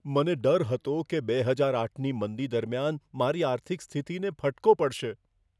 મને ડર હતો કે બે હજાર આઠની મંદી દરમિયાન મારી આર્થિક સ્થિતિને ફટકો પડશે.